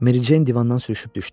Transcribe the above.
Mericeyn divandan sürüşüb düşdü.